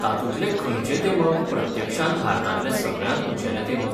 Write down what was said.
तातूंतलें खंयचें तेमक प्रत्यक्षांत भारतांतलें सगळ्यांत उंचेलें तेमक?